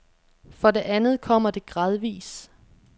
For det andet kommer det gradvis.